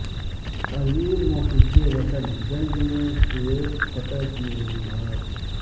عظیم محب وطن جنگ میں سوویت فتح کی وجوہات